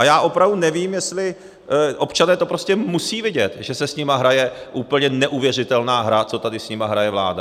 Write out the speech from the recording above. A já opravdu nevím, jestli - občané to prostě musí vědět, že se s nimi hraje úplně neuvěřitelná hra, co tady s nimi hraje vláda.